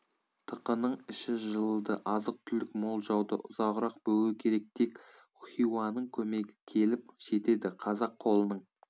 тықының іші жылыды азық-түлік мол жауды ұзағырақ бөгеу керек тек хиуаның көмегі келіп жетеді қазақ қолының